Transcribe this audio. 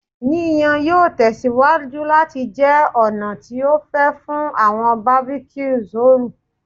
Yiyan yoo tẹsiwaju lati jẹ ọna ti o fẹ fun awọn barbecues ooru